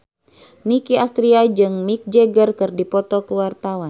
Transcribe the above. Nicky Astria jeung Mick Jagger keur dipoto ku wartawan